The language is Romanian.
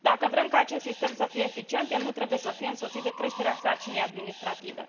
Dacă vrem ca acest sistem să fie eficient, el nu trebuie să fie însoțit de creșterea sarcinii administrative.